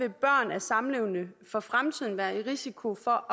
et barn af samlevende for fremtiden være en risiko for